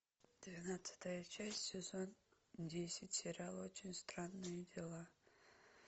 двенадцатая часть сезон десять сериал очень странные дела